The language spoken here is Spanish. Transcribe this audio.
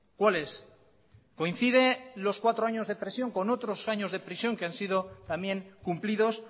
cuál es coincide los cuatro años de prisión con otros años de prisión que han sido también cumplidos